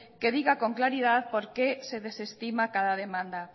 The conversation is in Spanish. que diga con claridad por qué se desestima cada demanda